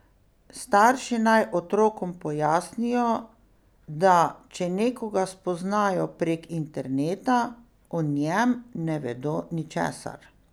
Starši naj otrokom pojasnijo, da če nekoga spoznajo prek interneta, o njem ne vedo ničesar.